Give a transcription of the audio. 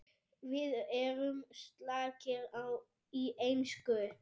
Við erum slakir í ensku